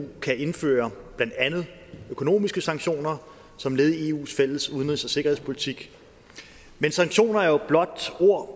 kan indføre blandt andet økonomiske sanktioner som led i eus fælles udenrigs og sikkerhedspolitik men sanktioner er jo blot ord